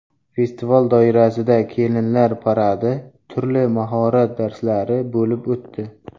Festival doirasida kelinlar paradi, turli mahorat darslari bo‘lib o‘tdi.